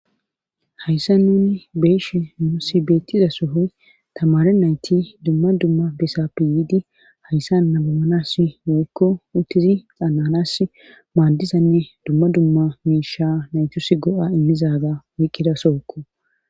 hayssa nuni beeshe muusi beettiza sohoy tamare nayti dumma dumma besappi yiidi hayssa nabomanas yoykko uttizi xananas maaddizanne dumma dumma miisha naytus go7a immizaga woyqkida sookko